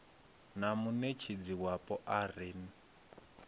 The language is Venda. na muṋetshedzi wapo a re